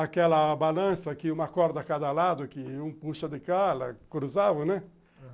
Aquela balança que uma corda a cada lado, que um puxa de cá, ela cruzava, né?